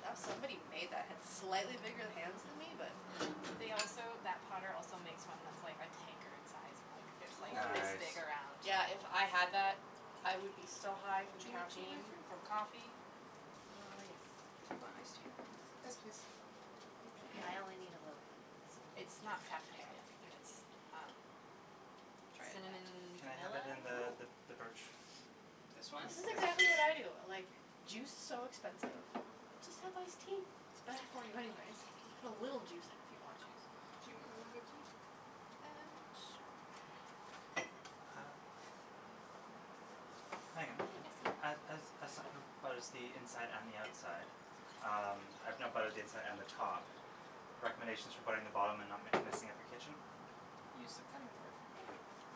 That pretty? somebody made that had slightly bigger hands than me but They also that potter also makes one that's like a tankard size mug, it's like Ooo this Nice! big around Yeah if I had that I would be so high from Do you want tea caffeine Matthew? from coffee Uh, yes You want iced tea? please Yes please You too? I only need a little bit please. It's not caffeinated and it's um Try it that cinnamon Can I have vanilla? it in the th the birch This one? Yes This is yes exactly what I please do. Like, juice's so expensive. Just have iced tea, it's better for you anyways, you put a little juice in if you want juice Do you want a mug of tea? Um, sure Okay Uh Meagan, Yes as as as som who butters the inside and the outside, um, I've now buttered the inside and the top, recommendations for buttering the bottom and not m messing up your kitchen? Use the cutting board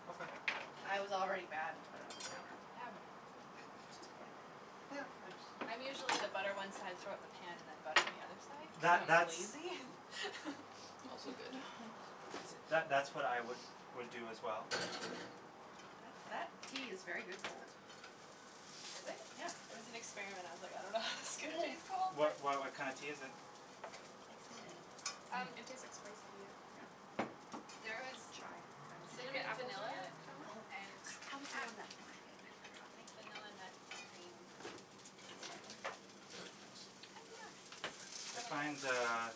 Okay I was already bad and put it on the counter. Eh whatever Just butter Yeah I jus I'm usually the butter one side throw it in the pan and then butter the other side That cuz I'm that's lazy. Also good See that that's what I would would do as well. That Um tea is very good cold. Is it? Yeah It was an experiment, I was like, I don't know how this is gonna taste cold What but why what kinda tea is it? Like cinamonny Um It Hmm tastes like spice tea, yeah Yeah There is Chai kinda Did you get cinnamon, apples on vanilla your sandwich? No, and I was the ah one that wanted it, I forgot thank you vanilla nut cream This is hard to flip, the sandwich, I find hiyah! uh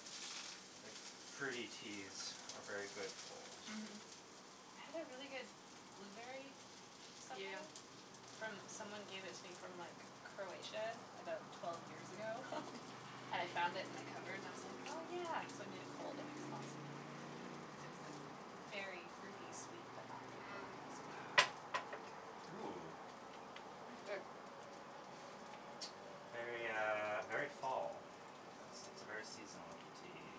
like fruity teas are very good cold. Mhm Mhm I had a really good blueberry something Yeah from someone gave it to me from like Croatia about twelve years ago I found it in the cupboard and I was like "oh yeah" so I made it cold and it was awesome, cuz it was like berry fruity sweet but not like Mmm overly sweet Ooh That's good. Very uh very fall, it's it's a very seasonal tea.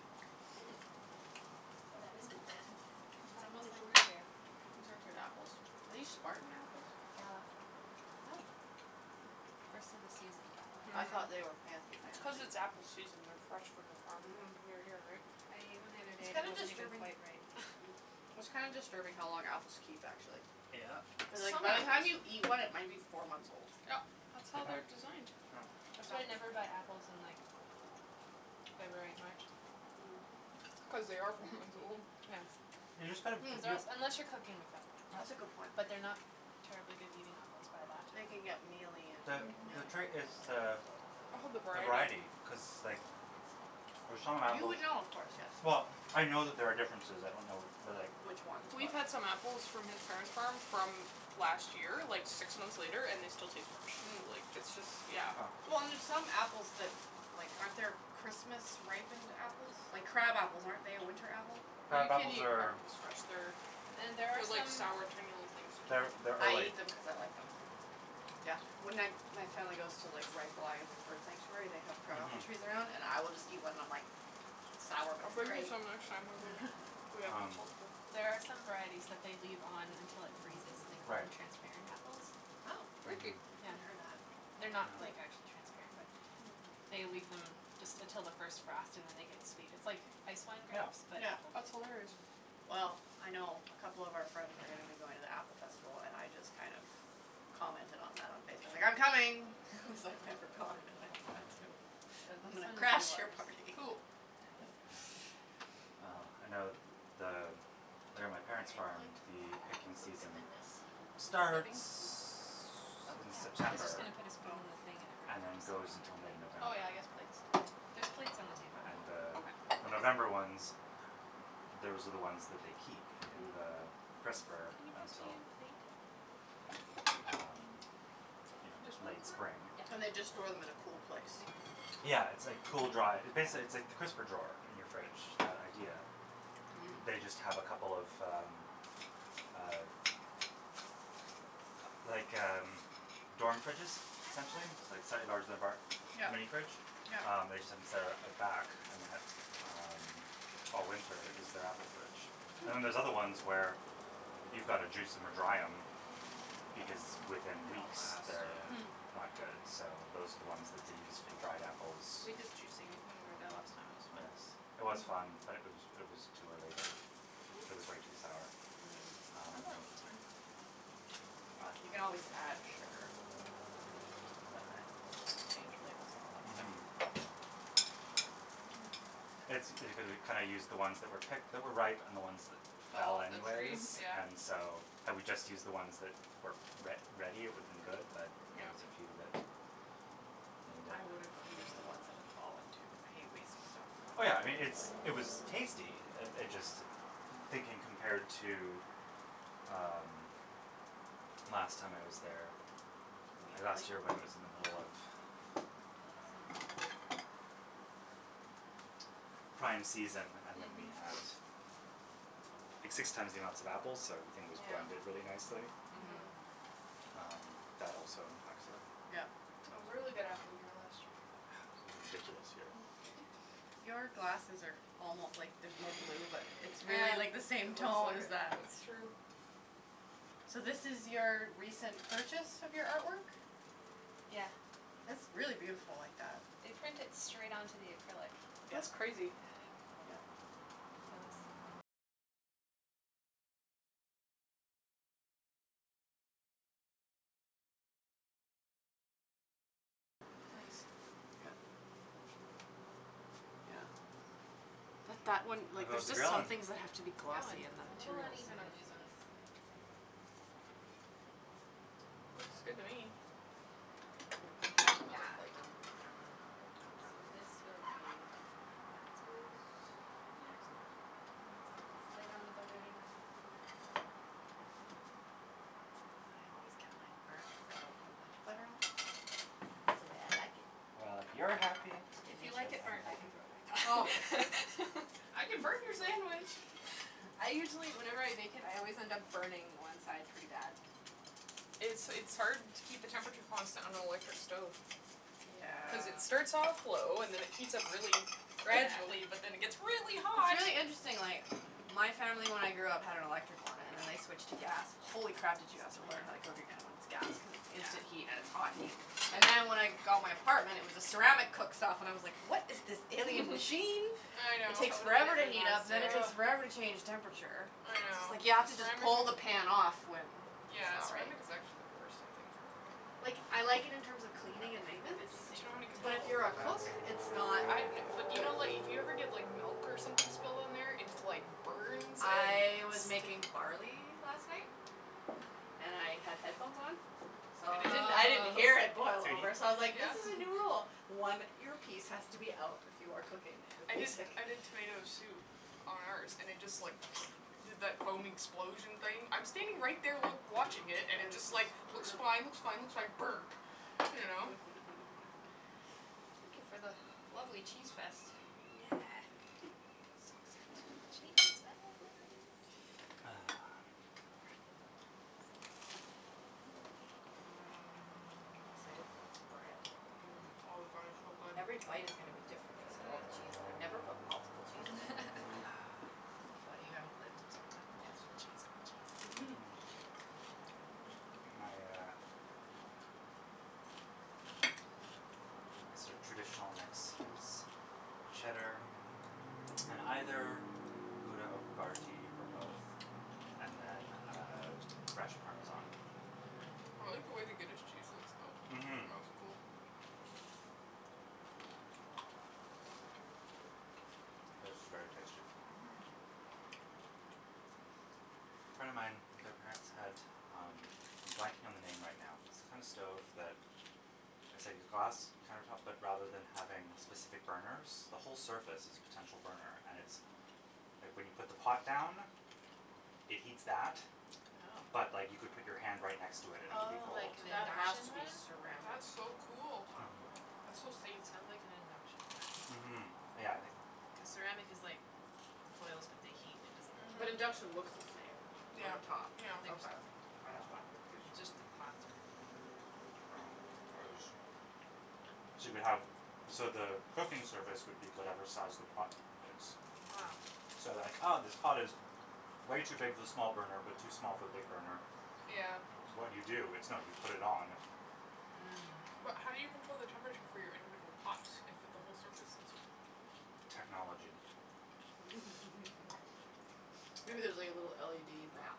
Hm Oh that is good. This It's apple almost is so like root good. beer. These are good apples, are these spartan apples? Gala Hm First of the season gala I Mhm thought they were fancy It's cuz fancy. it's apple season and they're fresh from the farm, like, mhm near here right? I ate one the other day It's and it kinda wasn't even disturbing quite ripe. it's kinda disturbing how long apples keep actually. Yep Cuz like Some by the time you apples eat one it might be four months old. Yep, that's how they're designed. That's why I never buy apples in like February March Mm Cuz they are four months old. Yeah You just gotta, hm Because they're yeah als- unless you're cooking with them That's a Yep good point. But they're not terribly good eating apples by that They time. can get mealy and The Mhm the yeah trait is the All the the variety variety cuz like, f for some You apples, would know of course yes well, I know that there are differences I don't know but like Which ones We've but had some apples from his parents' farm from last year, like six months later, and they still taste fresh Mm like it's just, yeah Well and there's some apples that like, aren't there Christmas ripened apples, like crab apples, aren't they a winter apple? Well you Crab can't apples eat crab are apples fresh, they're, And there are they're like some sour tiny little things, you can't They're eat them they're I fresh. ate them cuz I like them. Yeah when I my family goes to like Reifel Island Bird Sanctuary they have crab Mhm apples trees around and I will just eat one and I'm like Sour but I'll it's bring you great! some next time we go, if we have Um There are some varieties that they leave on until it freezes and they call Right them transparent apples. Oh, Freaky Mhm Yeah haven't heard that. They're not Cool like, Yeah actually transparent but They leave them just until the first frost and then they get sweet, it's like ice wine Yeah grapes but Yeah apple That's hilarious Mm Well Mm I know a couple of our friends are going to be going to the apple festival and I just kind of commented on that on Facebook li "I'm coming!" Cuz I've never gone and I want to. Yeah So I'm this gonna one is crash you're yours. party! Cool That one's Mm mine. well I know th the there on my Why parent's farm don't you the picking put, some season dip in this, for starts dipping, is that okay? Oh in yeah, I was September just gonna put a spoon in the thing and and everyone can then just throw goes it on their until mid plate but Oh November. yeah I guess plates too There's plates on the Um table. and the Okay the November ones, those are the ones that they keep in the crisper Can you pass me until a plate? Um you know This one's late mine? Spring Oh mhm Yeah And they just store them in a cool place? I can Yeah it's like cool dry, basically it it's like the crisper drawer in your fridge, that idea They just have a couple of um Mm uh Like um, dorm fridges essentially like a bar, a Yep mini fridge, yep um they just have them set up at the back and that all winter is their apple fridge And then there's Hm other ones where, you've gotta juice em or dry em because within They don''t weeks last, they're yeah Hm not good, so those are the ones that they use for the dried apples. We did juicing when we were there Um last time, it was fun yes, it was fun but it was it was too early they were it was Whoops! way too sour, Mm I thought That it um was was too bad fine. But You can always add sugar. But then you have to change your labels and all that stuff Mhm That's because we kinda used the ones that were picked that were ripe and the ones that Fell fell off the tree, anyways yeah and so, had we just used the ones that were re ready it would have been good but there Yep was a few that ruined I it. would've use the ones that had fallen too cuz I hate wasting stuff. Oh yeah I mean, it's it was tasty, uh it just thinking compared to um, last time I was there, or last year when it was in the middle of um Prime season and then we Mhm had six times the amount of apples so everything was blended really nicely. Mhm Mhm Um that also impacts it. Yep It was a really good apple year last year Was a ridiculous year Your glasses are almo like there's more blue but it's Ah, really it like the looks same tone as like, that that's true So this is your recent purchase of your artwork? Yeah It's really beautiful like that. They print it straight onto the acrylic. Yeah That's crazy. yeah Nice Yep Yeah But that one How like there's goes the just some grilling? things that have to be It's going. glossy and It's that a little material is so uneven on good for these that. ones, I have to say but Oh It's Looks good okay. to me! Those are done. Another Hiyah! plate So this will be Matthew's! And this is light on the butter enough for you I always get mine burnt cuz I don't put much butter on That's the way I like it. Well if you're happy It's If you delicious. then like it I'm burnt I can happy. throw it back on. I can burn your sandwich! I usually whenever I bake it I always end up burning one side pretty bad It's it's hard to keep the temperature constant on an electric stove. Cuz it Yeah starts off low, and then it heats up really It's Yeah gradually but then it gets really it's hot! really interesting like my family when I grew up had an electric one and then I switched to gas, holy crap did you have to learn how to cook again when it's gas cuz it's instant heat and it's hot heat And then when I got my apartment it was a ceramic cooktop and I was like "what is this alien machine?" I It know, takes Totally forever to different heat up then it monster ugh, takes forever to change temperature. I Just know like you have to just Ceramic pull is, the pan off whe it's yeah not right ceramic is actually the worst I think for cooking. Like I like it in terms We of could cleaning probably and fit the maintenance veggie thing But you don't on have any the but control if table. you're a cook, it's not Good Yeah but do idea. you good know like, if you ever get like milk or something spilled on there its like burns and I was sti making barley last night. And I had headphones on, so And it didn't I didn't hear it boil Oh! over so I was like "this Yeah is a new rule, one earpiece has to be out when you are cooking with I did music". I did tomato soup on ours and it just like did that foam explosion thing, I'm standing right there loo watching it and it just like, looks fine looks fine looks fine...burp! You know? Thank you for the lovely cheese fest. Yeah Yeah Cheese fest! Mmm I'm excited Mmm for this bread. mmm, oh the bread is so good, Every bite is gonna to be different cuz of all mhm the cheese. I've never put multiple cheeses in. Ahh Well you haven't lived until you've had a multiple cheese grilled cheese. Mhm My uh Yes My sorta traditional mix is cheddar and either grouda or I havarti or both and then uh fresh parmesan. like the way the Guinness cheese looks though, it Mhm looks cool. mhm This is very tasty. Mhm A friend of mine, their parents had, um, I'm blanking on the name right now but it's the kinda stove that, it's like the glass counter tops but rather than having specific burners, the whole surface is a potential burner and it's like when you put the pot down, it heats that oh but like you could put your hand right next to it and it would be Oh, like cold. an That has induction to be one? ceramic That's so cool! top Mhm. That's so safe. It sound like an induction one, Mhm, yeah, I think cuz ceramic is like, the coils but they heat and it doesn't But Mhm. I think induction so. looks the same Yeah, on the top? yeah. Okay, k that's why I'm confused. It's just the path are different. Oh. Yeah. Yeah, it was so you could have, so the cooking surface would be whatever size the pot is. So then like ah, this pot is way too big for the small burner but too small for the big burner, Yeah. what do you do? It's no, you put it on. Mm. But how do you control the temperature for your individual pots, if at the whole surface is Technology. Okay. Maybe there's like a little LED map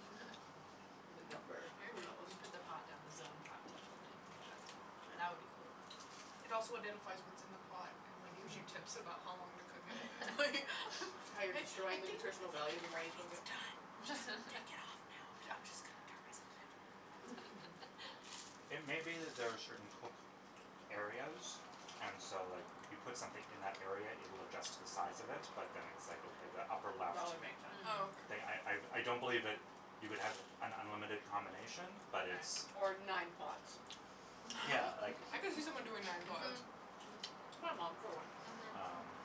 with a number. Maybe. Who knows? You put the pot down, the zone pops up and then you put your in. That would be cool. It also identifies what's in the pot, and like gives you tips about how long to cook it, and, like Yeah. like, "I How you're think, I destroying the think your nutritional value the more you gravy cook is it. done, just, take it off now, b- I'm just gonna turn myself down now, if that's okay." It may be that there are certain cook areas and so like, you put something in that area it will adjust to the size of it, but then it's like, okay the upper left. That would make sense. Oh But I, I, okay. I don't believe that you would have an unlimited combination, but it's Or nine pots. Yeah, like I can see someone doing nine pots. Mhm. Mhm. My mom, for one. Um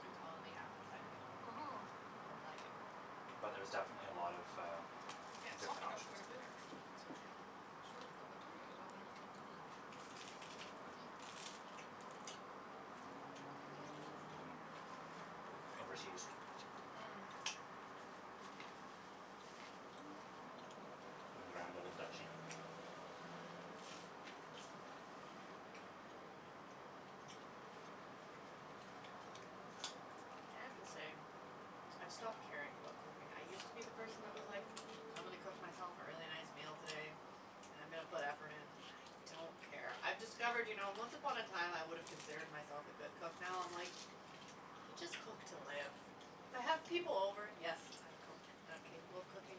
Good call on the apple by the way. Mhm. Mhm. I like it. But there's definitely a lot of, uh, Yeah, it different softened up options. quite a bit actually Yes. considering how short of a time it was on there. Mhm. This was in overseas. Mm. In the Grand Old Duchy. I have to say, I've stopped caring about cooking. I used to be the person that was like, "I'm gonna cook myself a really nice meal today, and I'm gonna put effort in." I don't care. I've discovered you know, once upon a time I would've considered myself a good cook now I'm like, you just cook to live. If I have people over, yes, I cook, and I'm capable of cooking,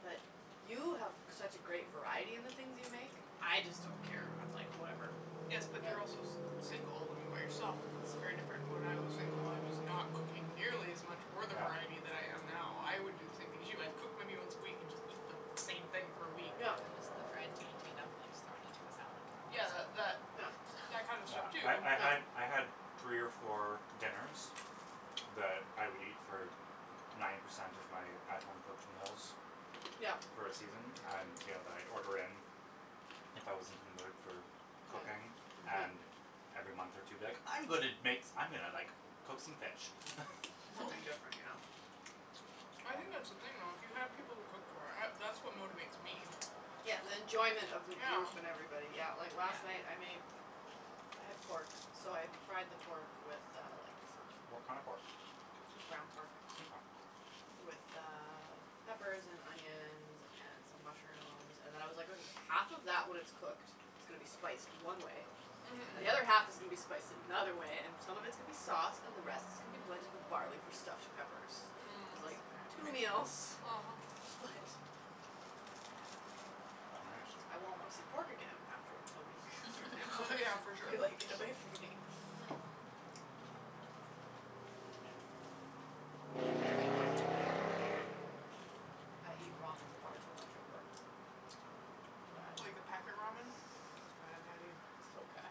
but you have such a great variety in the things you make. I just don't care, I'm like, "Whatever." Yes Yeah. but they're also s- single, when you're by yourself it's very different. When I was single I was not cooking nearly as much or the variety that I am now. I would do the Yeah. same thing as you. I've cooked many once a week and just eat the same Yeah. thing for a week. I miss the fried T&T dumplings thrown Yeah. into a salad compressor. Yeah, that that kind of stuff too. Yeah, I'm sure I I had, I had, three or four Yeah. dinners, that I would eat for n- ninety percent of my at home cooked meals, Yeah. for a season, and, you know, that I'd order in. Yep. If I wasn't in the mood for cooking, and every month or two be like, "I'm gonna Yeah. make s- , I'm gonna like, cook some fish." Um Something different, Mhm. I think that's the thing though, if you had people to cook for, I, that's what motivates me. yeah. Yeah, the enjoyment of the group and Yeah. everybody. Yeah, like last night I made I had pork, so I fried the pork with uh like, some What kinda pork? Just ground pork Mkay. with uh, peppers and onions and some mushrooms and then I was like, okay half of that when it's cooked is gonna be spiced one way And Mhm. the other half is gonna be spiced in another way, and Mhm. some of it's gonna be sauce, and the rest is gonna be blended with barley for stuffed peppers. Mm. Like, two meals. Split. Right. But I won't wanna see pork again after a week, from now Yeah, for sure. be like, "Get away from me." Nice. Mhm. I eat ramen far too much at work. Yeah. Like the packet ramen? That's It's bad, Natty. bad. So Mm. bad.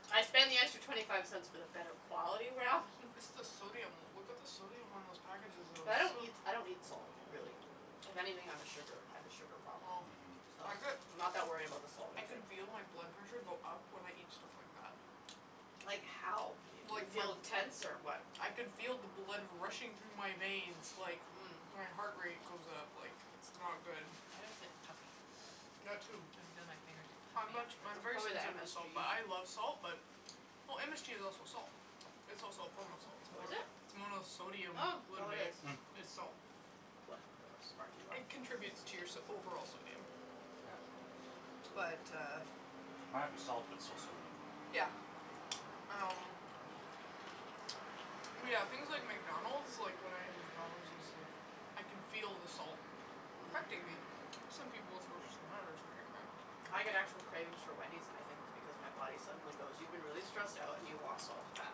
I spend the extra twenty five cents for the better quality ramen. It's the sodium, look at the sodium on those packages though. But I It's don't so eat, I don't eat salt, really. If anything, I'm a sugar, I have a sugar problem. Oh. So, I I'm bet not that worried about the salt I can intake. feel my blood pressure go up when I eat stuff like that. Like Like, Mhm. how? You, you the, feel tense or what? I can feel the blood rushing through my veins, like, my heart rate goes up, like, it's not good. I just get puffy. I That too. I'm puffy much, Mm. I'm That's afterwards. very probably the sensitive to salt MSG. but I love salt. But, well MSG is also salt. It's also a form of salt. It's Oh is mo- it? it's Oh, so monosodium glutamate. it is. Mm. It's Well, salt. look how smart you are. It contributes to your so- overall sodium. Yes. But uh Might be salt, but it's still sodium. Yeah. Um yeah, things like McDonald's, like when I have McDonald's, it's like, I can feel the salt, affecting me. Some people it's worse than others, right? Mm. I get Mm. actual cravings for Wendy's and I think it's because my body suddenly goes, "You've been really stressed out and you want salt and fat."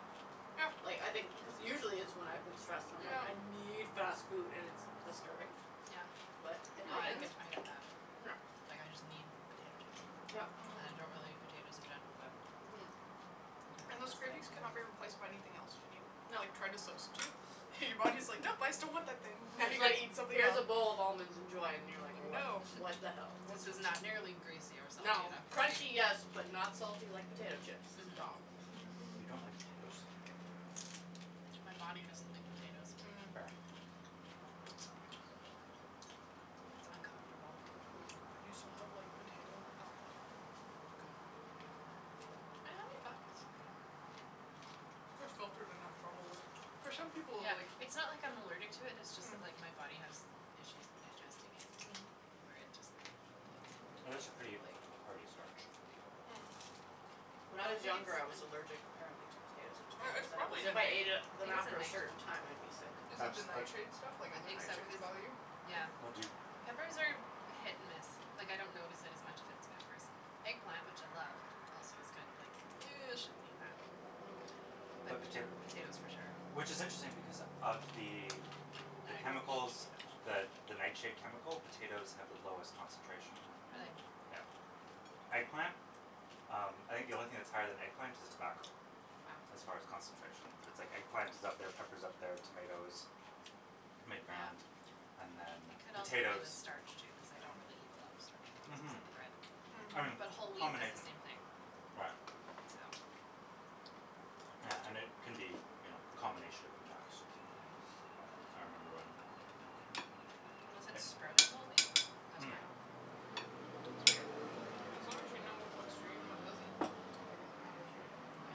Yeah. Like, I think cuz usually it's when I've been stressed and I'm like, Yeah. "I need fast food," and it's disturbing? Mm. Yeah, But it yeah I happens. get I get mad. Yeah. Like, I just need potato Yep. chips, and Mhm. I don't really eat potatoes in general, but Mhm. And Sometimes those it's just cravings cannot like be replaced by anything else, when you, No. like, try to substitute and your body's like, "Nope! I still want that thing." "Now you It's gotta like, eat something "Here's a else." bowl of almonds, enjoy." And you're like, "What? No. What the hell?" "This is not nearly greasy or salty No. enough for Crunchy, me." Mhm. yes, but not salty like potato chips. It's wrong. Mhm. You don't like potatoes? My body doesn't like potatoes. Mm. Fair. Oh. It's uncomfortable. You still have like potato alcohol? Like vodka? I have a vodka Those too you're gonna have trouble with. For some people, Yeah, like It's not like I'm allergic to it, it's just that Mm. like my body has issues digesting it. Mhm. Where it just bloats Potatoes are pretty uncomfortably. hearty starch. Mm. When I But I was think it's younger, I was allergic apparently to potatoes and Or tomatoes it's and it was probably if I ate it I then think it's a after a night certain time I'd be sick. Is it That's the that nightshade stuff? Like I other think so, nightshades cuz, bother you? yeah. But Mhm. do Peppers are hit and miss, like I don't notice it as much if it's peppers. Eggplant, which I love, also is kind of like, ew I shouldn't eat that. you But potato Potatoes for sure. Which is interesting because of the the I chemicals, the don't the nightshade eat chemical? Potatoes have the potatoes. lowest concentration. Mm. Really? Yeah. Eggplant? Um, I think the only thing that's higher than eggplant is tobacco. Wow. As far as concentration, but it's like eggplant is up there, pepper's up there, tomatoes, mid-ground, and then It could also be the potatoes. starch too, cuz I con't really Mm. eat a lot of starchy things Mhm. except bread, Mhm. but whole wheat does the Combination. same thing. Right. So. Yeah, and it Tristan. can be you know, a combination of impacts. Mhm. But I remember when Unless it's sprouting whole wheat? That's Mm. fine. It's weird. Yeah, as long as you know what works for you and what doesn't. That's all that really matters, right? Yeah.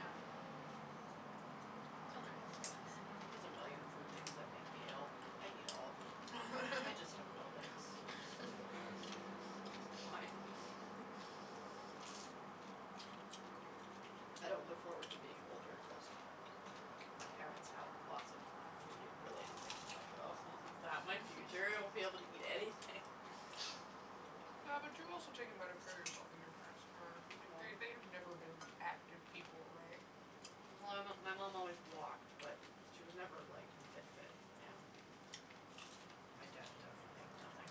It's a learning process. Mhm. There's a million food things that make me ill. I eat all of them. I just have Rolaids. Why? I don't look forward to being older cuz my parents have lots of like, food related things, and like oh Is that my future? I won't be able to eat anything. Yeah but you've also taken better care of yourself than your parents are, like, they they have never been active people, right? Well Well my my mom always walked, but she was never like fit fit, yeah. Mm. My dad definitely, nothing.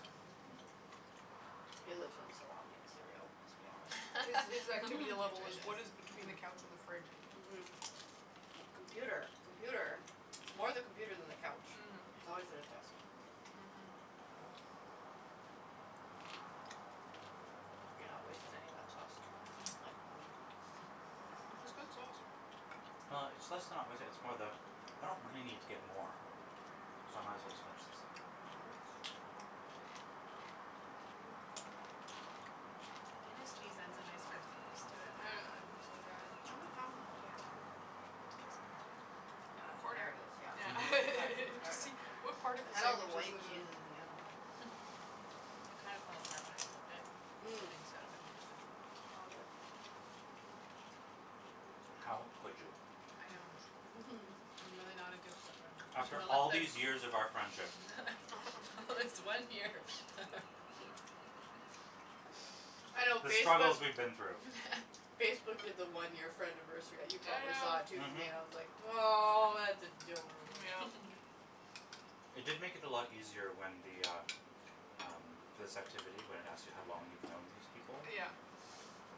He lives on salami and cereal, let's be honest. His his activity level was what Nutritious. is between the couch and the fridge. Mhm. Mhm. Mhm. Computer, Mhm. computer, it's more the computer than the couch. Mm. He's always at his desk. Mhm. Mhm. You're not wasting any of that sauce. That's good sauce. Well, it's less than not wasting it, it's more the I don't really need to get more, so I might as well just finish this up. Mhm. The Guinness cheese has a nice earthiness to it. I know, I think so, yeah I think I haven't found that one yet. It looks burnt. I got a Ah, there corner. it is. Yeah. All Yeah. Mhm. right, there it Just i see, s. what part of the I had all the sandwich is white with a cheeses in the other one. It kinda fell apart when I flipped it? Mm. Mm. Flippings got a bit mixed up. All good. How could you? I know. I'm really not a good flipper. After all these years of our friendship. This one year. I know The struggles Facebook's we've been through. Facebook did the one year friendiversary you probably saw it Yeah. too for me, Mhm. and I was like, "Aw, that's adorable." Mm yeah. It did make it a lot easier when the, ah, um, this activity when it asks you how long you've known these people? Yeah.